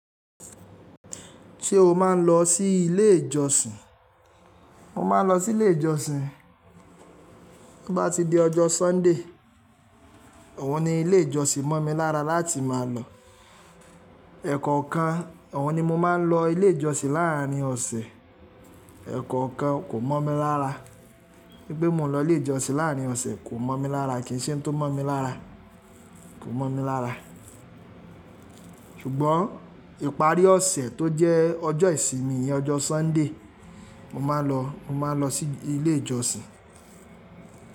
Ṣé o máa ń lọ sí ilé ìjọsìn? Mo máa ń lọ sí ilé ìjọsìn. Bí bá ti di ọjọ́ Sunday, òun ni ilé ìjọsìn mọ̀ mi lára láti máa lọ. Ẹ̀kọ̀ọ̀kan òun ni mo máa ń lọ ilé ìjọsìn láàárín ọ̀sẹ̀. Ẹ̀kọ̀ọ̀kan kò mọ̀ mi lára. Pé mo lọ ilé ìjọsìn láàárín ọ̀sẹ̀ kò mọ̀ mi lára, kìí ṣe tó mọ̀ mi lára. Kò mọ̀ mi lára. Ṣùgbọ́n ìparí ọ̀sẹ̀ tó jẹ́ ọjọ́ ìsinmi, ọjọ́ Sunday, mo máa lọ, mo máa lọ sí ilé ìjọsìn.